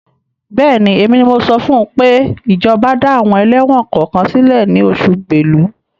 Bẹ́ẹ̀ni, èmi ni mo sọ fún pé ìjọba dá àwọn ẹlẹ́wọ̀n kọ̀ọ̀kan sílẹ̀ ní oṣù Bélú.